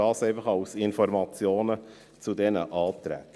Dies als Information zu diesen Anträgen.